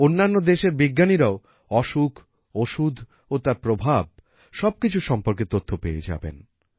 অন্যান্য দেশের বিজ্ঞানীরাও অসুখ ওষুধ ও তার প্রভাব সবকিছু সম্পর্কে তথ্য পেয়ে যাবেন